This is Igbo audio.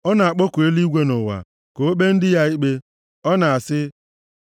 Ọ na-akpọku eluigwe na ụwa ka o kpee ndị ya ikpe: Ọ na-asị,